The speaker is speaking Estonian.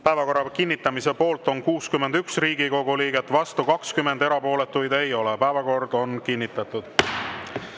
Päevakorra kinnitamise poolt on 61 Riigikogu liiget, vastu 20, erapooletuid ei ole, päevakord on kinnitatud.